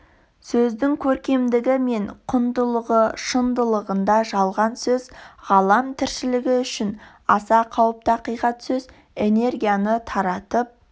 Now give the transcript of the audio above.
сөздің көркемдігі мен құндылығы шындығында жалған сөз ғалам тіршілігі үшін аса қауіпті ақиқат сөз энергияны таратып